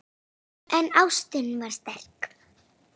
En ástin var sterk.